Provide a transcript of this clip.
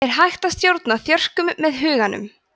er hægt að stjórna þjörkum með huganum